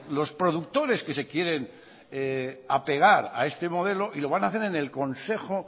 los productores que se quieren apegar a este modelo y lo van a hacer en el consejo